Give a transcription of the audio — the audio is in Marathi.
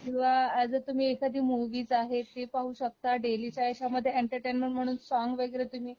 किंवा अॅज अ तुम्ही एखादी मुव्ही आहे ती पाहू शकता डेलीच्या ह्याच्यामधे एंटरटेनमेंट म्हणून सॉन्ग वैगरे तुम्ही